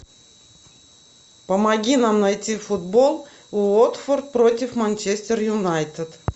помоги нам найти футбол уотфорд против манчестер юнайтед